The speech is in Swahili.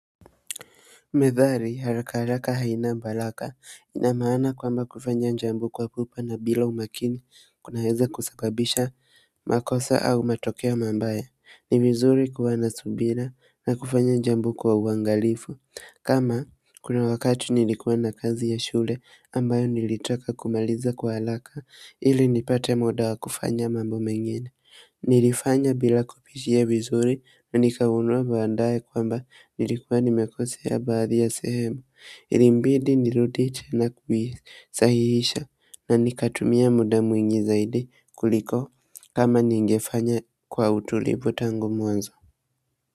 Methali haraka haraka haina baraka ina maana kwamba kufanya jambo kwa pupa na bila umakini kunaeza kusababisha makosa au matokeo mabaya. Ni vizuri kuwa na subira na kufanya jambo kwa uangalifu. Kama kuna wakati nilikuwa na kazi ya shule ambayo nilitaka kumaliza kwa haraka ili nipate muda wa kufanya mambo mengine. Nilifanya bila kupitia vizuri na nikagundua baadaye kwamba nilikuwa nimekosea baadhi ya sehemu. Ilinibidi nirudie na kuhisahihisha na nikatumia muda mwingi zaidi kuliko kama ningefanya kwa utulivu tangu mwanzo.